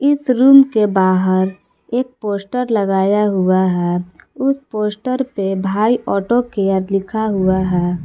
इस रूम के बाहर एक पोस्टर लगाया हुआ है उस पोस्टर पे भाई ऑटो केयर लिखा हुआ है।